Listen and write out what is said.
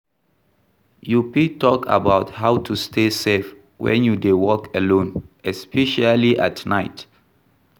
You fit talk about how to stay safe when you dey walk alone, especially at night.